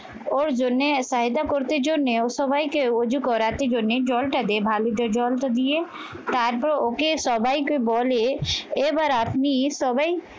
ওর জন্য সায়দা করতে জন্যে সবাইকে রজু করাতে জন্যে জলটাতে ভালুতে জলটা দিয়ে তারপর ওকে সবাইকে বলে এবার আপনি সবাই